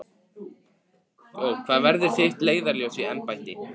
Hvað verður þitt leiðarljós í embætti?